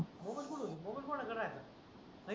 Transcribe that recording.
आई mobile फोडू mobile फोडायचा राहिला